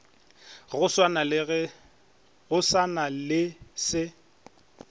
go sa na le se